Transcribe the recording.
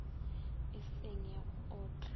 e seng ya go otla